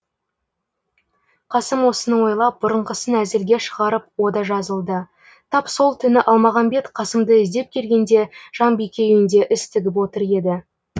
қасым осыны ойлап бұрынғысын әзілге шығарып о да жазылды тап сол түні алмағамбет қасымды іздеп келгенде жанбике үйінде іс тігіп отыр еді